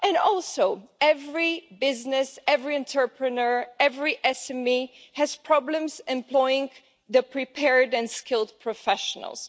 Also every business, every entrepreneur and every SME has problems employing prepared and skilled professionals.